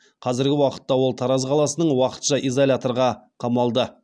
қазіргі уақытта ол тараз қаласының уақытша изоляторға қамалды